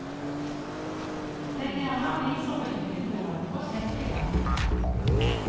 Legg gjerne aviser på kjøkkenbordet og sett i gang.